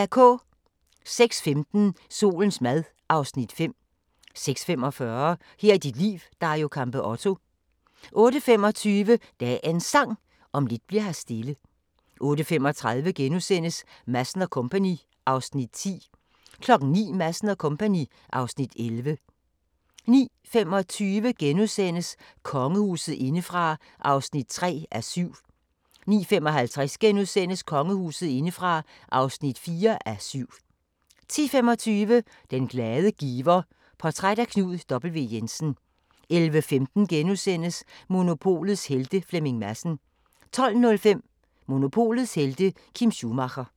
06:15: Solens mad (Afs. 5) 06:45: Her er dit liv – Dario Campeotto 08:25: Dagens Sang: Om lidt bli'r her stille 08:35: Madsen & Co. (Afs. 10)* 09:00: Madsen & Co. (Afs. 11) 09:25: Kongehuset indefra (3:7)* 09:55: Kongehuset indefra (4:7)* 10:25: Den glade giver: Portræt af Knud W. Jensen 11:15: Monopolets Helte – Flemming Madsen * 12:05: Monopolets helte - Kim Schumacher